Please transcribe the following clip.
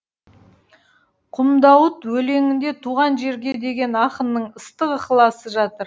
құмдауыт өлеңінде туған жерге деген ақынның ыстық ықыласы жатыр